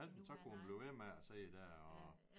Og han så kunne hun blive med man at sidde der og